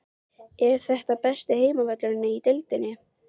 Er þetta besti heimavöllurinn í deildinni?